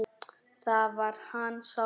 Þá verði hann sáttur.